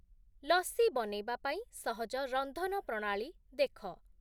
ଲସ୍ସି ବନେଇବା ପାଇଁ ସହଜ ରନ୍ଧନ ପ୍ରଣାଳୀ ଦେଖ।